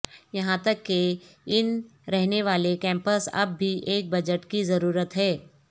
یہاں تک کہ ان رہنے والے کیمپس اب بھی ایک بجٹ کی ضرورت ہے